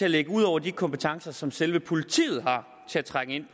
ligger ud over de kompetencer som selve politiet har til at trænge ind